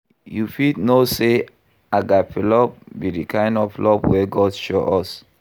You fit know say Agape love be di kind of love wey God show us.